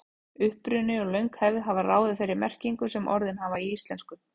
Uppruni og löng hefð hafa ráðið þeirri merkingu sem orðin hafa í íslensku.